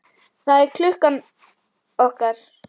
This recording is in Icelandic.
Það er klukkan okkar!